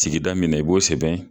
Sigida min na i b'o sɛbɛn